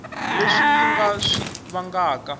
leswi yi nga swi vangaka